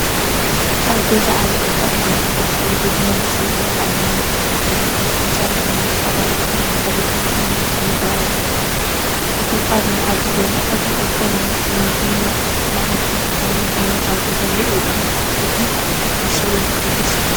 ኣብ ገዛ ዓቢ ቅጫ ተዘርጊሑ፡ስዒቡ ድማ ንእሽቶ ቆልዓ ኣብ ወንበር ኮፍ ኢሉ ይርከብ። ኣንጻሩ ድሙቕ ኣራንሺ ድሕረ ባይታን መስተን ይረአኣሎ። እቲ ኣብ መኣዲ ዘሎ ዓቢ ቅጫ ንምግቢ መዓልቲ ዝዳሎ ኮይኑ፡ኣብ ገዛ ውዑይ እዩ። እቲ ንእሽቶ ወዲ ሕጉስ ይመስል።